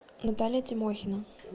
наталья тимохина